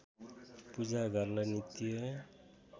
पूजा घरलाई नित्य